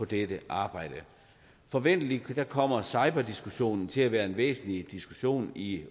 dette arbejde forventelig kommer cyberdiskussionen til at være en væsentlig diskussion i